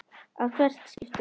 að hvert skipti.